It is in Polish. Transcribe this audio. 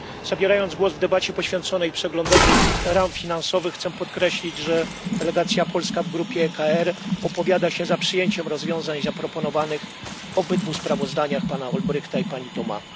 Zabierając głos w debacie poświęconej przeglądowi ram finansowych, chcę podkreślić, że delegacja polska w grupie ECR opowiada się za przyjęciem rozwiązań zaproponowanych w obydwu sprawozdaniach pana Olbrychta i pani Thomas.